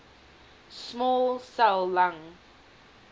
small cell lung